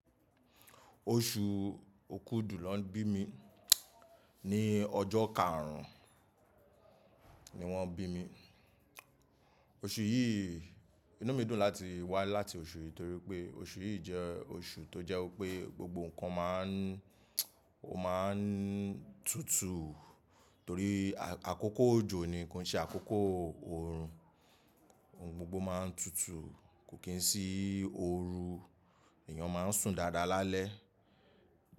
Oṣù Okúdù lọ bí mi. Ni ọjọ́ karùn-ún ni wọ́n bí mi. Oṣù yìí inú mi dùn láti wá láti oṣù yìí torí pé oṣù yìí jẹ́ oṣù tó jẹ́ pé gbogbo nǹkan máa ń ó máa ń tutù torí àkókò òjò nì ko n ṣe àkókò orun. Ohun gbogbo máa ń tutù, kò kí ń sí oru, èèyàn máa ń sùn dáadáa lálẹ́.